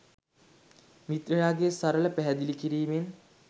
මිත්‍රයාගේ සරල පැහැදිලි කිරීමෙන්